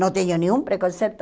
Não tenho nenhum preconceito.